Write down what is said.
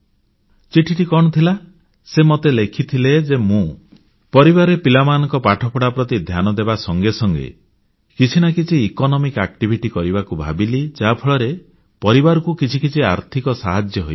ଚିଠିଟି କଣ ଥିଲା ସେ ମତେ ଲେଖିଲେ ଯେ ମୁଁ ପରିବାରରେ ପିଲାମାନଙ୍କ ପାଠପଢ଼ା ପ୍ରତି ଧ୍ୟାନ ଦେବା ସଂଗେ ସଂଗେ କିଛି ନା କିଛି ଆର୍ଥିକ ଦୃଷ୍ଟିରୁ ଲାଭପ୍ରଦ କରିବାକୁ ଭାବିଲି ଯାହାଫଳର ପରିବାରକୁ କିଛି କିଛି ଆର୍ଥିକ ସାହାଯ୍ୟ ହୋଇପାରିବ